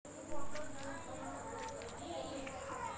गांधी जिवंत असताना लिहिलेले हे पहिले चरित्र आहे.